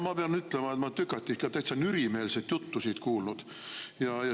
No ma pean ütlema, et ma olen tükati ikka täitsa nürimeelset juttu siit kuulnud.